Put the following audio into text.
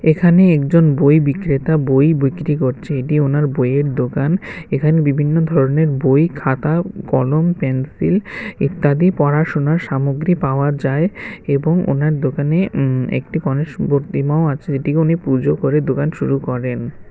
এখানে একজন বই বিক্রেতা বই বিক্রি করছে এটি ওনার বইয়ের দোকান এখানে বিভিন্ন ধরনের বই খাতা উম কলম পেন্সিল ইত্যাদি পড়াশোনার সামগ্রী পাওয়া যায় এবং ওনার দোকানে উম একটি গণেশ মূর্তিমাও আছে যেটিকে উনি পুজো করে দোকান শুরু করেন।